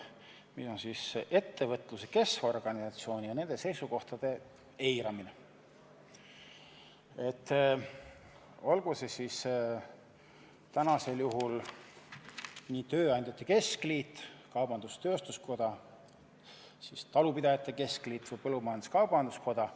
See on ettevõtluse keskorganisatsioonide seisukohtade eiramine, olgu tegemist tööandjate keskliidu, kaubandus-tööstuskoja, talupidajate keskliidu või põllumajandus-kaubanduskojaga.